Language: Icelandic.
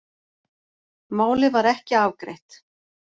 Málið var ekki afgreitt